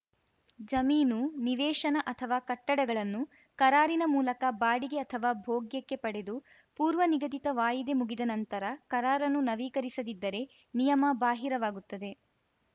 ಜಮೀನು ನಿವೇಶನ ಅಥವಾ ಕಟ್ಟಡಗಳನ್ನು ಕರಾರಿನ ಮೂಲಕ ಬಾಡಿಗೆ ಅಥವಾ ಭೋಗ್ಯಕ್ಕೆ ಪಡೆದು ಪೂರ್ವನಿಗದಿತ ವಾಯಿದೆ ಮುಗಿದ ನಂತರ ಕರಾರನ್ನು ನವೀಕರಿಸದಿದ್ದರೆ ನಿಯಮ ಬಾಹಿರವಾಗುತ್ತದೆ